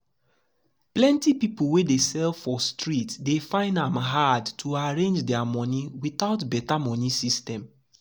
plenty people wey dey sell for street dey find am hard to arrange their money without better money system.